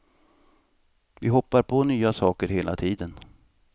Vi hoppar på nya saker hela tiden.